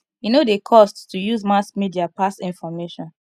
e no dey cost to use mass media pass information